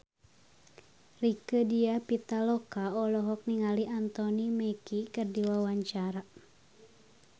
Rieke Diah Pitaloka olohok ningali Anthony Mackie keur diwawancara